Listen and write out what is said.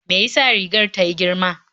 Me ya sa rigar ta yi girma?